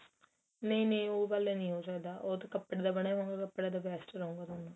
ਨਹੀਂ ਨਹੀਂ ਉਹ ਗੱਲ ਨੀਂ ਹੋ ਸਕਦਾ ਉਹ ਤਾਂ ਕਪੜੇ ਦਾ ਬਣਿਆ ਹੁਣ ਉਹ ਕਪੜੇ ਦਾ best ਰਹੂਗਾ ਤੁਹਾਨੂੰ